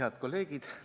Head kolleegid!